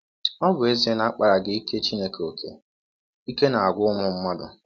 Ọ bụ ezie na a kpaaraghị ike Chineke ọ́kè, ike na - agwụ ụmụ mmadụ.